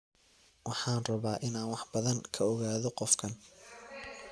Waxaan rabaa inaan wax badan ka ogaado qofkan